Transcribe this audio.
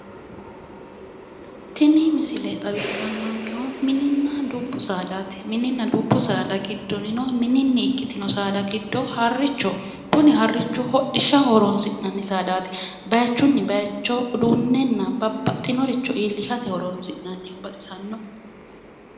Tini misile xawissannonkehu mininna dubbu saadaati mininna dubbu saada giddonino mini saada ikkitinotino harrichoho kuni harrichu hidhishaho horonsi'nanni saadaati bayichunni bayicho uduunnenna babbaxitino iillishate horonsi'nanniho.